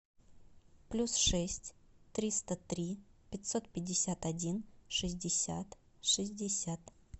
плюс шесть триста три пятьсот пятьдесят один шестьдесят шестьдесят